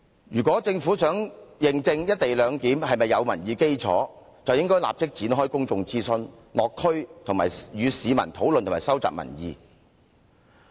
如果政府想認證"一地兩檢"是否具民意基礎，便應該立即展開公眾諮詢，落區與市民討論和收集民意。